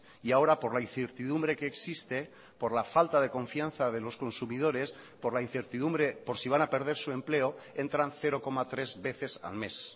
y ahora por la incertidumbre que existe por la falta de confianza de los consumidores por la incertidumbre por si van a perder su empleo entran cero coma tres veces al mes